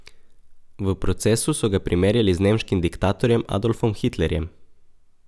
V procesu so ga primerjali z nemškim diktatorjem Adolfom Hitlerjem.